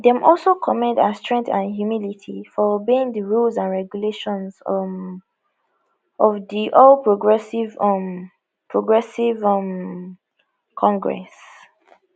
dem also commend her strength and humility for obeying di rules and regulations um of di all progressives um progressives um congress